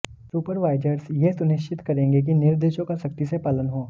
supervisors यह सुनिश्चित करेंगे कि निर्देशों का सख्ती से पालन हो